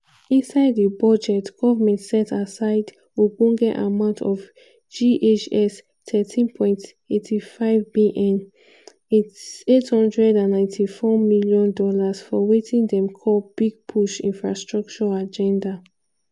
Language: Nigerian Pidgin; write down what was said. inside di budget goment set aside ogbonge amount of ghs 13.85bn ($894m) for wetin dem call "big push" infrastructure agenda.